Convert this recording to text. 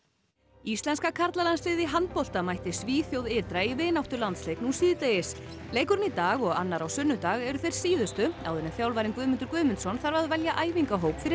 íslenska karlalandsliðið í handbolta mætti Svíþjóð ytra í vináttulandsleik nú síðdegis leikurinn í dag og annar á sunnudag eru þeir síðustu áður en þjálfarinn Guðmundur Guðmundsson þarf að velja æfingahóp fyrir